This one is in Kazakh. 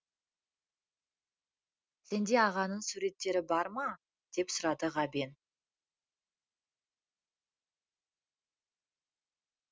сенде ағаңның суреттері бар ма деп сұрады ғабен